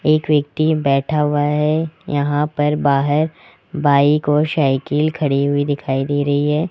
एक व्यक्ति बैठा हुआ है यहां पर बाहर बाइक और साइकिल खड़ी हुई दिखाई दे रही है।